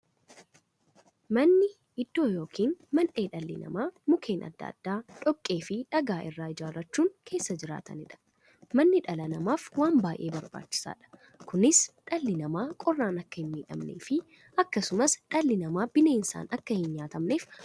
Manni iddoo yookiin mandhee dhalli namaa Mukkeen adda addaa, dhoqqeefi dhagaa irraa ijaarachuun keessa jiraataniidha. Manni dhala namaaf waan baay'ee barbaachisaadha. Kunis, dhalli namaa qorraan akka hinmiidhamneefi akkasumas dhalli namaa bineensaan akka hinnyaatamneef baay'ee isaan gargaara.